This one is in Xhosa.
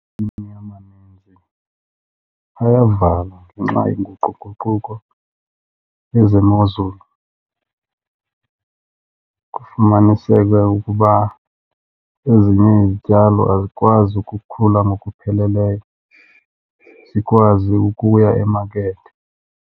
amaninzi ayavalwa ngenxa yenguquguquko lwezemozulu. Kufumaniseke ukuba ezinye izityalo azikwazi ukukhula ngokupheleleyo zikwazi ukuya emakethe.